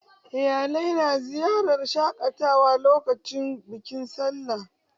Iyalai na ziyartar wurin shaƙatawa lokacin bikin sallah.